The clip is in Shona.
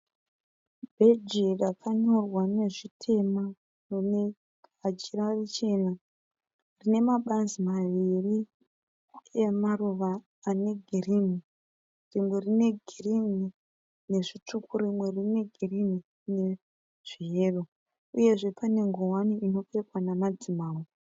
Bheji rakanyorwa nezvitema rine muchira muchena. Rine mabazi maviri emaruva ane girini. Rimwe rine girini nezvitsvuku, rimwe rine girini nezveyero. Uyezve pane nguwani inopfekwa namadzimambo.